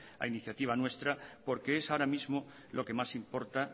a iniciativa nuestra porque es ahora mismo lo que más importa